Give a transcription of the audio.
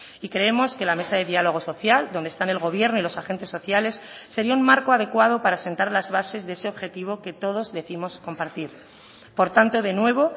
y creemos que la mesa de diálogo social donde están el gobierno y los agentes sociales sería un marco adecuado para asentar las bases de ese objetivo que todos décimos compartir por tanto de nuevo